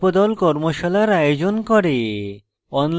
কর্মশালার আয়োজন করে